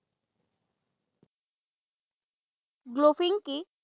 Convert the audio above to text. Golfing কি?